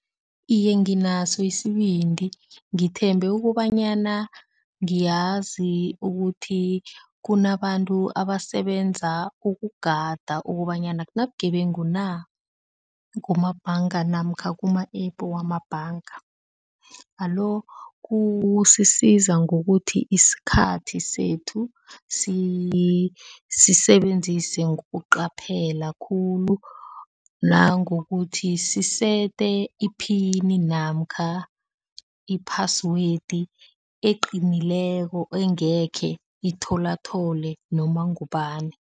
Iye, nginaso isibindi, ngithemba ukobanyana ngiyazi ukuthi kunabantu abasebenza ukugada ukobanyana akunabugebengu na, kumabhanga namkha kuma a-app wamabhanga, alo kusisiza ngokuthi isikhathi sethu sisisebenzise ngokuqaphela khulu nangokuthi sisete iphini namkha i-password eqinileko engekhe ithola thole noma ngubani.